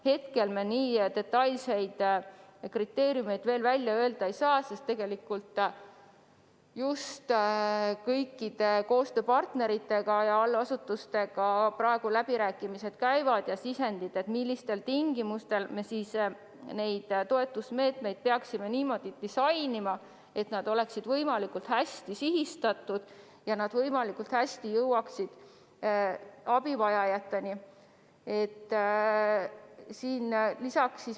Hetkel me nii detailseid kriteeriume veel välja öelda ei saa, sest kõikide koostööpartnerite ja allasutustega läbirääkimised alles käivad ning sisendit, kuidas me neid toetusmeetmeid peaksime disainima, et nad oleksid võimalikult hästi sihitud ja jõuaksid võimalikult hästi abivajajateni.